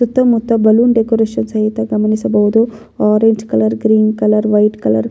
ಸುತ್ತ ಮುತ್ತ balloon decoration ಸಹಿತ ಗಮನಿಸಬಹುದು orange colour green colour white colour .